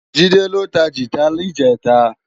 Jide ló tá gitá nijètá